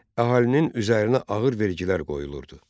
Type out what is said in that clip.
Əhalinin üzərinə ağır vergilər qoyulurdu.